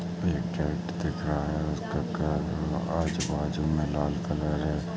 एक गेट दिख रहा है उसका आजू बाजू में लाल कलर है।